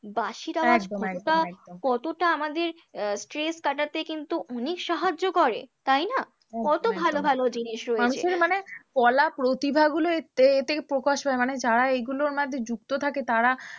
বাঁশির আওয়াজ কতটা কতটা আমাদের আহ stress কাটাতে কিন্তু অনেক সাহায্য করে তাই না? কত ভালো ভালো জিনিস রয়েছে, মানুষের মানে কলা প্রতিভাগুলো এ এ থেকে প্রকাশ হয়, মানে যারা এইগুলোর মধ্যে যুক্ত থাকে তারা